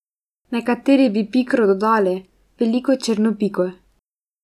Nekateri bi pikro dodali, veliko črno piko.